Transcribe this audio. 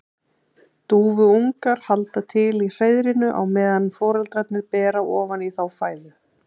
Dúfuungar halda til í hreiðrinu á meðan foreldrarnir bera ofan í þá fæðu.